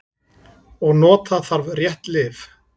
Og nota þarf rétt lyf.